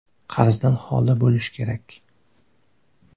Qarzdan xoli bo‘lishi kerak.